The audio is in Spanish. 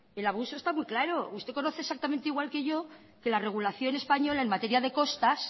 el abuso está muy claro usted conoce exactamente igual que yo que la regulación española en materia de costas